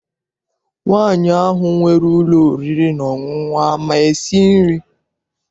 Nwaanyi ahụ nwere ụlọ oriri na ọṅụṅụ ama esi nri?